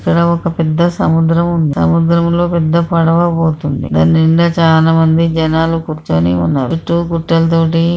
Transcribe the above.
ఇక్కడ ఒక పెద్ద సముద్రం ఉం సముద్రంలో పెద్ద పడవ పోతుంది దాని నిండా చాలామంది జనాలు కూర్చొని ఉన్నారు చుట్టూ కట్టలతోటి --